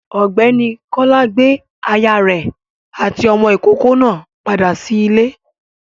Ọ̀gbẹ́ni Kọ́lá gbé aya rẹ̀ àti ọmọ ìkókó náà padà sí ilé.